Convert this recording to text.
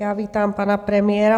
Já vítám pana premiéra.